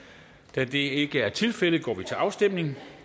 da det ikke er tilfældet går vi til afstemning